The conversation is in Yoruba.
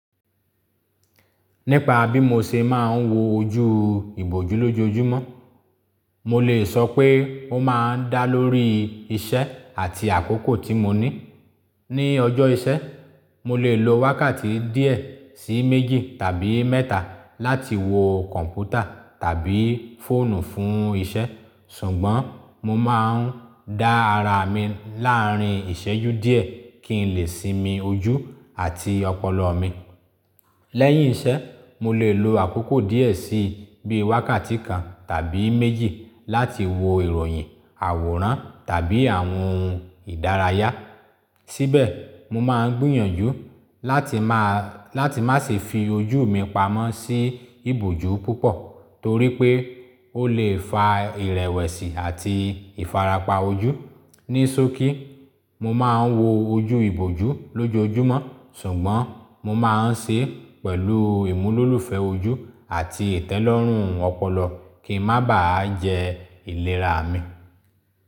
Nípa bí mo ṣe máa ń wo ojú ìbòjú lójoojúmọ́, mo lè sọ pé ó máa ń dá lórí iṣẹ́ àti àkókò tí mo ní. Ni ọjọ́ ìṣẹ́, mo lè lo wákàtí díẹ̀ sí méjì tàbí mẹ́ta láti wo kọ̀ǹpútà tàbí fóònù fún iṣẹ́. Ṣùgbọ́n, mo máa ń dá ara mi láàárín ìṣẹ́jú díẹ̀ kí n lè sinmi ojú àti ọpọlọ mi. Lẹ́yìn iṣẹ́, mo lè lo àkókò díẹ̀ sí bí i wákàtí kan tàbí méjì láti wo ìròyìn, àwòrán tàbí àwọn ohun ìdárayá. Síbẹ̀, mo máa ń gbìyànjú láti máa, láti má se fi ojú mi pamọ́ sí ìbòjú púpọ̀ torí pé ó lè fa ìrẹ̀wẹ̀sì àti ìfarapa ojú. Ní sókí, mo máa ń wo ojú ìbòjú lójoojúmọ́, ṣùgbọ́n mo máa ń ṣe pẹ̀lú ìmúlòlúfẹ́ ojú àti ìtẹ́lọ́rùn ọpọlọ kí ń má bà á jẹ ìlera mi.